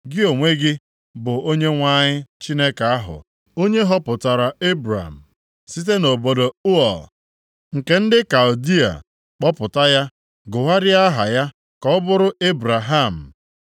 “Gị, onwe gị bụ Onyenwe anyị Chineke ahụ, onye họpụtara Ebram site nʼobodo Ụọ nke ndị Kaldịa, kpọpụta ya, gụgharịa aha ya ka ọ bụrụ Ebraham.